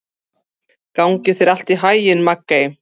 Gangi þér allt í haginn, Maggey.